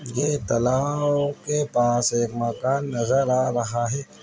ये तलाआआब के पास एक मकान नजर आ रहा है।